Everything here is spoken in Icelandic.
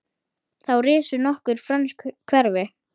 Þá risu nokkur frönsk hverfi.